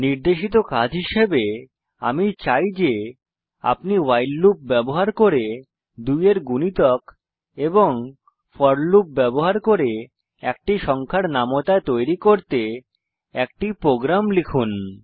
নির্দেশিত কাজ হিসাবে আমি চাই যে আপনি ভাইল লুপ ব্যবহার করে 2 এর গুণিতক ফোর লুপ ব্যবহার করে একটি সংখ্যার নামতা তৈরী করতে একটি প্রোগ্রাম লিখুন